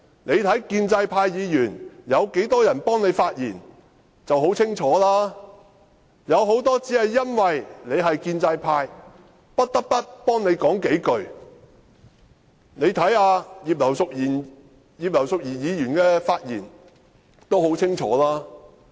他看看建制派議員有多少人為他發言，便很清楚，有很多建制派議員只因他是建制派，不得不為他說數句話，大家看看葉劉淑儀議員的發言已很清楚。